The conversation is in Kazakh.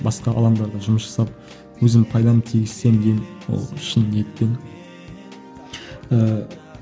басқа алаңдарда жұмыс жасап өзім пайдамды тигізсем деймін ол шын ниетпен ыыы